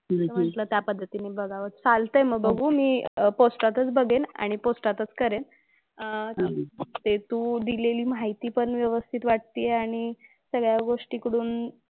मग म्हंटलं त्या पद्धतीने बघावं. चालतंय मग. बघू मी पोस्टातच बघेन. आणि पोस्टातच करेन. अह ते तू दिलेली माहिती पण व्यवस्थित वाटतेय आणि सगळ्या गोष्टींकडून,